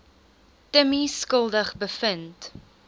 timmie skuldig bevind